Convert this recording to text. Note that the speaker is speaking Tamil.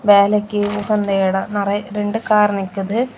வேலைக்கு உகந்த எடோ. நிறைய ரெண்டு கார் நிக்குது.